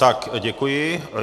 Tak děkuji.